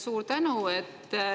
Suur tänu!